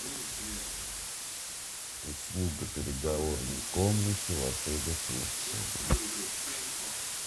услуга переговорной комнаты в отеле турции